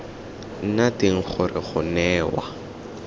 nna teng gore go newa